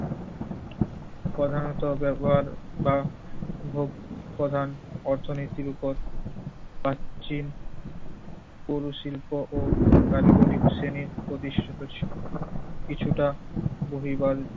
প্রধানত ব্যবহার বা ভোগ প্রধান অর্থনীতির উপর প্রাক চীন পুর শিল্প ও কারিগরি শ্রেণির প্রতিষ্ঠিত ছিল। কিছুটা বহিঃ বাড়ির